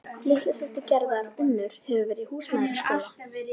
Litla systir Gerðar Unnur hefur verið í húsmæðraskóla.